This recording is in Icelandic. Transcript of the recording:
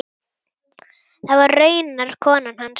Það var raunar konan hans.